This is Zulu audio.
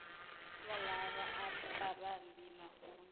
walaba babambi magunya